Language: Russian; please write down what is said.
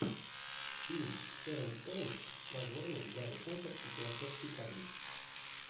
фильм с шерон стоун с названием гарри поттер и философский камень